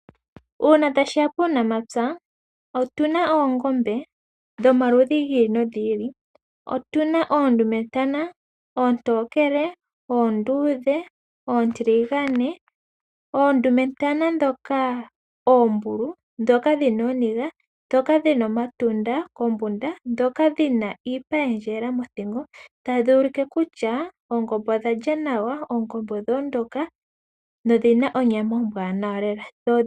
Uuna ta shiya puunamapya , otu na oongombe dhomaludhi gi ili nogi ili. Otu na oondumetana oontokele, oonduudhe, oontiligane, oondumetana ndhoka oombulu, ndhoka dhi na ooniga, ndhoka dhi na omatunda kombunda, ndhoka dhi na iipa ya endjelela mothingo tadhi ulike kutya oongombe odha lya nawa, oongombe odha ondoka nodhina onyama ombwaanawa lela.